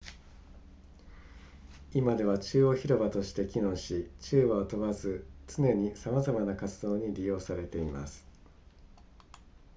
今では中央広場として機能し昼夜を問わず常にさまざまな活動に利用されています